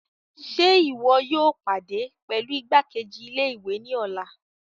Ṣe iwọ yóò pàdé pẹlú igbakeji-ilé-ìwé ni ọlá?